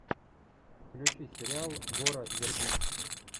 включи сериал гора вербински